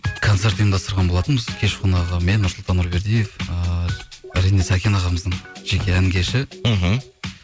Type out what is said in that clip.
концерт ұйымдастырған болатынбыз кеш қонағы мен нұрсұлтан нұрбердиев ыыы әрине сәкен ағамыздың жеке ән кеші мхм